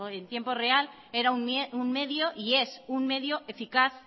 en tiempo real era un medio y es un medio eficaz